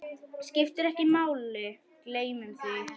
Skiptir ekki máli, gleymdu því.